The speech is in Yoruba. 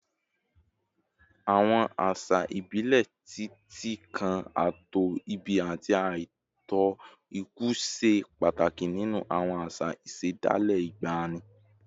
Àwọn àṣà ìbílẹ̀, títí kan ààtò ìbí àti ààtò ikú, ṣe pàtàkì nínú àwọn àṣà ìṣẹ̀dálẹ̀ ìgbàanì